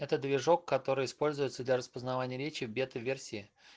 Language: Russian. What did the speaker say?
это движок который используется для распознавания речи в бета-версии